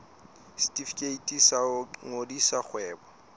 setefikeiti sa ho qadisa kgwebo